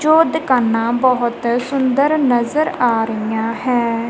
ਜੋ ਦੁਕਾਨਾਂ ਬੋਹੁਤ ਸੁੰਦਰ ਨਜ਼ਰ ਆ ਰਹੀਆ ਹੈਂ।